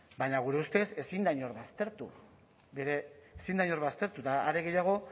baina gure ustez ezin da inor baztertu ezin da inor baztertu eta are gehiago